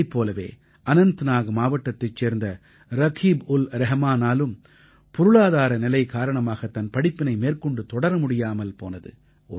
இவரைப் போலவே அனந்தநாக் மாவட்டத்தைச் சேர்ந்த ரகீப்உல்ரஹமானாலும் பொருளாதார நிலை காரணமாகத் தன் படிப்பினை மேற்கொண்டு தொடர முடியாமல் போனது